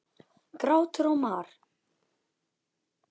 Grátur og mar.